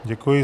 Děkuji.